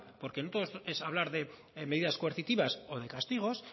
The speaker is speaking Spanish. porque no todo es hablar de medidas coercitivas o de castigos